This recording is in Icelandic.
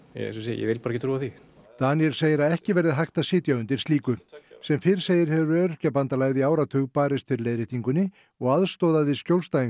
ég vil bara ekki trúa því Daníel segir að ekki verði hægt að sitja undir slíku sem fyrr segir hefur Öryrkjabandalagið í áratug barist fyrir leiðréttingunni og aðstoðaði skjólstæðing